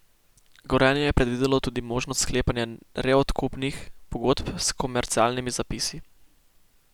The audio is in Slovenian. Gorenje je predvidelo tudi možnost sklepanja reodkupnih pogodb s komercialnimi zapisi.